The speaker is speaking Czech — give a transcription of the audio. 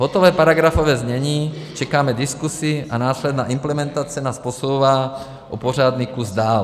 Hotové paragrafové znění, čekáme diskusi, a následná implementace nás posouvá o pořádný kus dál.